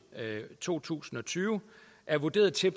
to tusind og tyve er vurderet til